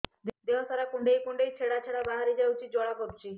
ଦେହ ସାରା କୁଣ୍ଡେଇ କୁଣ୍ଡେଇ ଛେଡ଼ା ଛେଡ଼ା ବାହାରି ଯାଉଛି ଏବଂ ଜ୍ୱାଳା କରୁଛି